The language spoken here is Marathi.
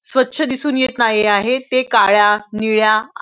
स्वछ दिसून येत नाही आहे ते काळ्या निळ्या --